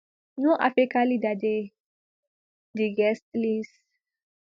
no african leader dey di guest list